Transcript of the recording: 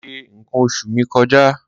Mo ti ṣe nǹkan oṣù mi kọjá.